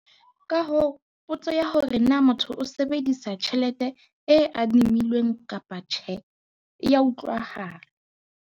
Ka hoo, potso ya hore na motho o sebedisa tjhelete e adimilweng kapa tjhe, e a utlwahala.